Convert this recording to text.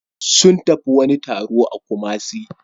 Sun tafi wani taro a Kumasi